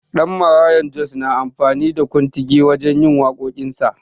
Danmaraya Jos na amfani da kontigi wajen yin waƙoƙin sa.